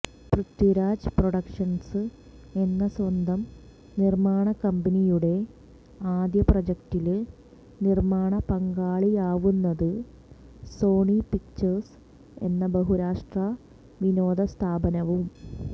Prithviraj productions എന്ന സ്വന്തം നിര്മ്മാണക്കമ്പനിയുടെ ആദ്യ പ്രോജക്ടില് നിര്മ്മാണ പങ്കാളിയാവുന്നത് സോണി പിക്ചേഴ്സ് എന്ന ബഹുരാഷ്ട്ര വിനോദസ്ഥാപനവും